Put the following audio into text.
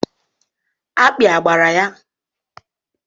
Akpị a gbara ya?